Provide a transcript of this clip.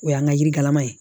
O y'an ka yirikalama ye